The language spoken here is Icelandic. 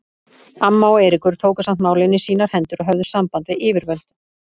Amma og Eiríkur tóku samt málin í sínar hendur og höfðu samband við yfirvöld.